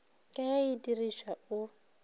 ka ge e diripwa o